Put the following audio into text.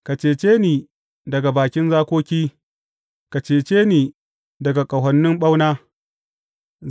Ka cece ni daga bakin zakoki; ka cece ni daga ƙahonin ɓauna.